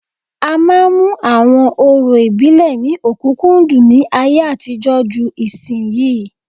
A máa ń mú àwọn orò ìdílé ní ọ̀kúnkúndùn ní ayé àtijọ́ ju ìsinyìí